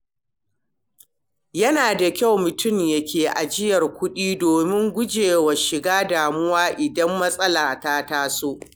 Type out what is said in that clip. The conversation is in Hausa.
Yana da kyau mutum ya ke ajiyar kuɗi domin gujewa shiga damuwa idan matsala ta taso.